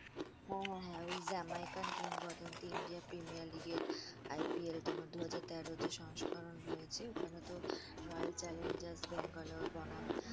হ্যাঁ হ্যাঁ হ্যা ওই জ্যামাইকান কিং বদন্তি ইন্ডিয়া প্রিমিয়ার লীগের IPL তোমার দুহাজার তের যে সংস্করণ রয়েছে ওখানে তো রয়েল চ্যালেঞ্জর্স ব্যাঙ্গালোর বনাম